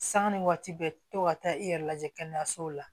Sanga ni waati bɛ to ka taa i yɛrɛ lajɛ kɛnɛyasow la